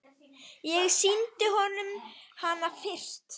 Ég sýndi honum hana fyrst.